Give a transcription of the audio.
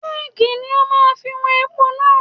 Kẹ́ẹ̀gì ni ó máa fi wọn epo náà.